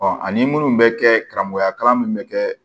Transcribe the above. ani minnu bɛ kɛ karamɔgɔya kalan min bɛ kɛ